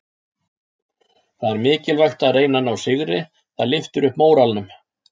Það er mikilvægt að reyna að ná sigri, það lyftir upp móralnum.